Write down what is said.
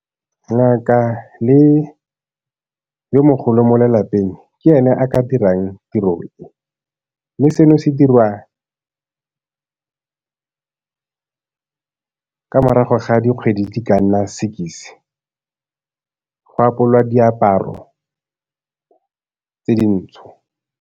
Ngaka le yo mogolo mo lelapeng ke ene a ka dirang tiro e, mme seno se dirwa ka morago ga dikgwedi di ka nna go apolwa diaparo tse dintsho.